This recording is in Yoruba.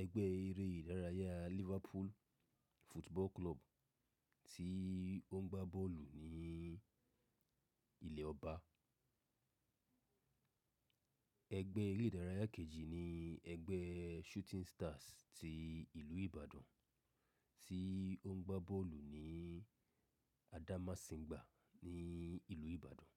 ẹgbẹ́ eré ìdárayá Liverpool Football Club tí ó ń gbá bọ́ọ̀lù ní ilẹ̀ ọba. Ẹgbẹ́ eré ìdárayá kejì ni ẹgbẹ́ Shooting Stars ti ìlú Ibadan tí ó ń gbá bọ́ọ̀lù ní Adamasingba ní ìlú Ibadan.